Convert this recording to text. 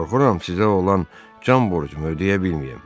Qorxuram, sizə olan can borcumu ödəyə bilməyim.